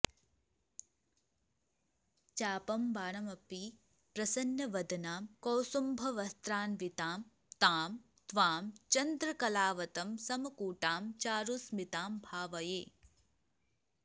चापं बाणमपि प्रसन्नवदनां कौसुम्भवस्त्रान्वितां तां त्वां चन्द्रकलावतम्समकुटां चारुस्मितां भावये